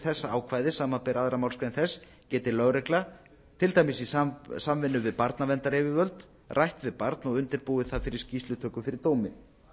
þessa ákvæðis samanber aðra málsgrein þess geti lögregla til dæmis í samvinnu við barnaverndaryfirvöld rætt við barn og undirbúið það fyrir skýrslutöku fyrir dómi